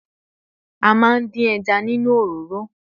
A máa ń dín ẹja nínú òroró